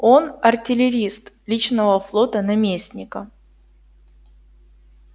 он артиллерист личного флота наместника